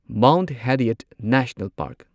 Mount Harriet National park